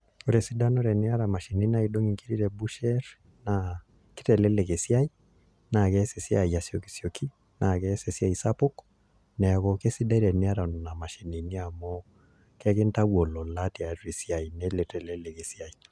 Ore esidano teniataa imashinini naidong' inkiri te busherr naa kitelelek esiai naa kees esiai asiokisioki naa keas esiai sapuk neeku esidai teniata nena mashinini amu kekitayu olola tialo esiai nelo aitelelek esiai